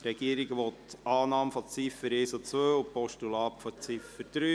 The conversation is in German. Die Regierung will die Annahme der Ziffern 1 und 2 und des Postulats von Ziffer 3.